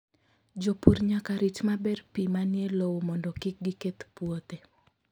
Jopur nyaka rit maber pi manie lowo mondo kik giketh puothe.